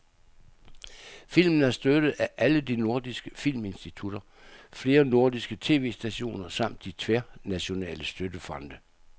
Filmen er støttet af alle de nordiske filminstitutter, flere nordiske tv-stationer samt de tværnationale støttefonde.